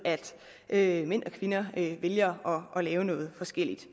at mænd og kvinder vælger at lave noget forskelligt